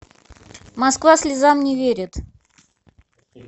москва слезам не верит